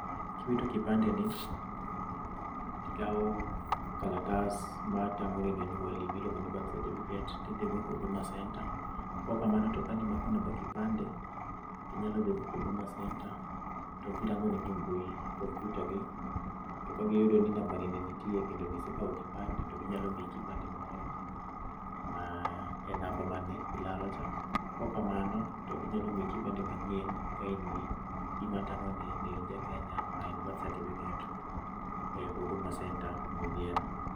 Ki iwitro kipande ni ikawo kalatas ma tang'o neno nyuol ni ma iluongo ni birth certificate ti idhi go huduma center, kok kamano to ka ni imako namba kipande ti inya dhi go huduma centre to gi rango ni e mbui kompyuta gi, to gi yudo ni namba ni ne nitie kendo ne isekao kipande to gi nyalo miyi kipande moro ma e namba ma ne ilalo cha kok ka mano to gi nyalo miyi kipande manyien ka in gi gi ma tang'o ni in ja Kenya ma en birth certificate, e huduma center ku ma idhiye no.